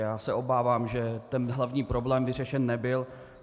Já se obávám, že ten hlavní problém vyřešen nebyl.